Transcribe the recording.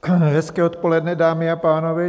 Hezké odpoledne, dámy a pánové.